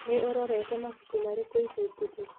Nĩ ũrorete mabuku marĩkũ ica ikuhĩ?